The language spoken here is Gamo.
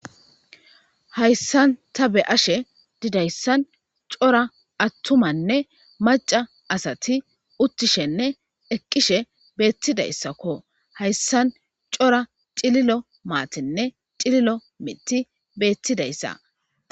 Hayssan Ta be'ashe Dizaysan Cora atumane maccay Asati utishene eqidhe betizaysako haysan Cora Cillilo matine cillilomithiy Bettidaysa